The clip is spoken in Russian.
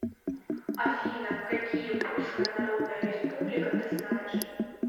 афина какие польская народная республика ты знаешь